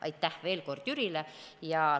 Aitäh veel kord Jürile!